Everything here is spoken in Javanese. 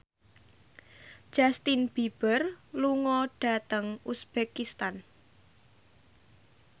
Justin Beiber lunga dhateng uzbekistan